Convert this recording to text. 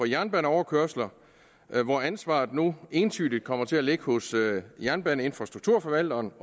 jernbaneoverkørsler hvor ansvaret nu entydigt kommer til at ligge hos jernbaneinfrastrukturforvalteren